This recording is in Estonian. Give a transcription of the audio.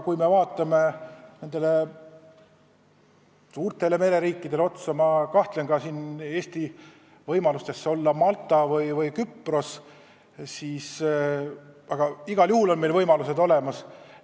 Kui me vaatame suurtele mereriikidele otsa, siis ma kahtlen Eesti võimalustes olla nagu Malta või Küpros, aga igal juhul on meil võimalused olemas.